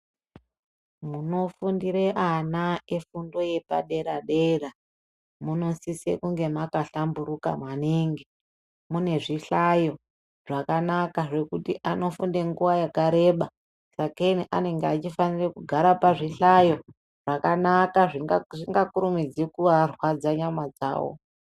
Munofundira ana efundo yepadera-dera munosise kunge makahlamburuka maningi, mune zvihlayo zvakanaka zvekuti anofunde nguwa yakareba sakei anenge achifanire kugara pazvihlayo zvakanaka zvisingakurumidzi kuarwadza nyama dzawo.